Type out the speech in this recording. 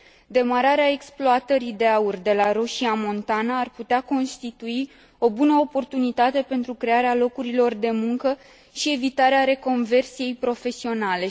Demararea exploatării de aur de la Roșia Montana ar putea constitui o bună oportunitate pentru crearea locurilor de muncă și evitarea reconversiei profesionale.